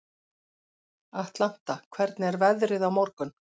Atlanta, hvernig er veðrið á morgun?